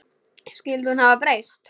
Skyldi hún hafa breyst?